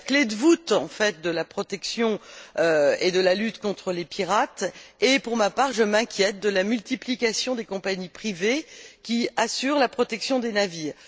C'est la clé de voûte, en fait, de la protection et de la lutte contre les pirates et, pour ma part, je m'inquiète de la multiplication des compagnies privées qui assurent la protection des navires.